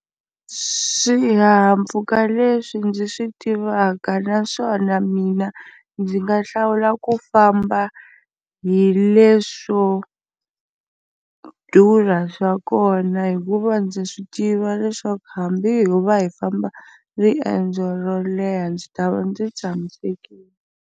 Swihahampfhuka leswi ndzi swi tivaka naswona mina ndzi nga hlawula ku famba hi leswo durha swa kona hikuva ndza swi tiva leswaku hambi ho va hi famba riendzo ro leha ndzi ta va ndzi tshamisekile.